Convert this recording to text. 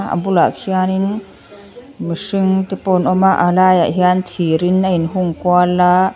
a bulah hianin mihring te pawh an awm a a laiah hian thir in a in hung kual aa--